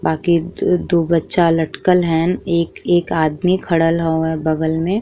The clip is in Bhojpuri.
बाकि दू दू बच्चा लटकल हैन। एक एक आदमी खड़ल हवे बगल में।